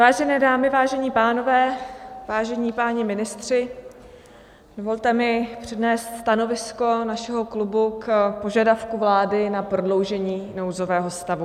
Vážené dámy, vážení pánové, vážení páni ministři, dovolte mi přednést stanovisko našeho klubu k požadavku vlády na prodloužení nouzového stavu.